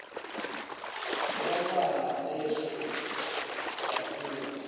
kwebantfwana lehle kakhulu